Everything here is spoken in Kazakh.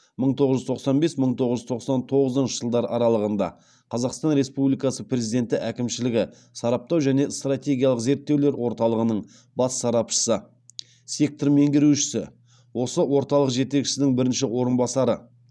мың тоғыз жүз тоқсан бес мың тоғыз жүз тоқсан тоғызыншы жылдар аралығында қазақстан республикасы президенті әкімшілігі сараптау және стратегиялық зерттеулер орталығының бас сарапшысы сектор меңгерушісі осы орталық жетекшісінің бірінші орынбасары